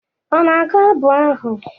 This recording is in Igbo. Ọ na-agụ abụ ahụ?